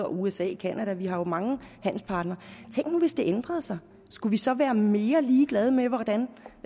usa canada vi har jo mange handelspartnere tænk nu hvis det ændrede sig skulle vi så være mere ligeglade med hvordan